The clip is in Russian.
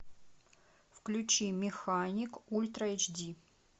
включи механик ультра эйч ди